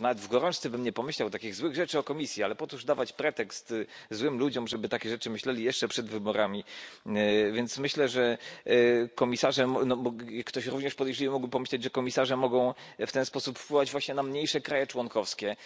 Nawet w gorączce bym nie pomyślał takich złych rzeczy o Komisji, ale po cóż dawać pretekst złym ludziom, żeby takie rzeczy myśleli jeszcze przed wyborami. Więc myślę, że komisarzem no bo ktoś również podejrzliwy mógłby pomyśleć, że komisarze mogą w ten sposób wpływać właśnie na mniejsze kraje członkowskie,